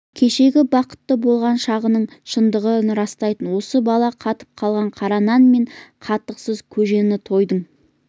кешегі бақытты болған шағының шындығын растайтын осы бала қатып қалған қара нан мен қатықсыз көжені тойдың